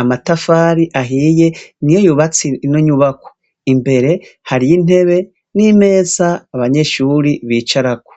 amatafari ahiye niyo yubatse ino nyubakwa imbere harimwo intebe nimeza abanyeshuri bicaraho.